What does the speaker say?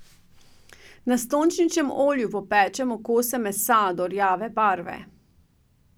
Na sončničnem olju popečemo kose mesa do rjave barve.